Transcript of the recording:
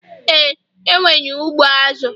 Ee, enwere ụgbọ azụ